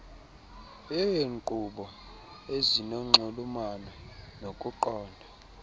yeenkqubo ezinonxulumano nokuqonda